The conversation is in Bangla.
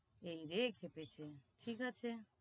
এইরে খেপেছে ঠিক আছে